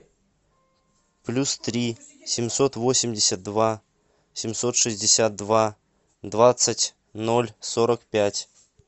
плюс три семьсот восемьдесят два семьсот шестьдесят два двадцать ноль сорок пять